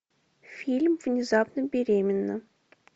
фильм внезапно беременна